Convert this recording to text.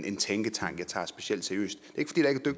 en tænketank jeg tager specielt seriøst